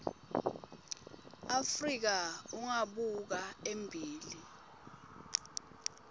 afrika ungabuka embili